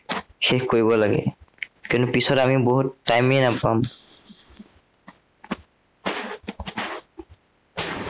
শেষ কৰিব লাগে। কেলেই পিছলে আমি বহুত time য়েই নাপাম।